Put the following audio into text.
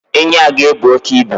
Enyi a ga-ebu oke ibu.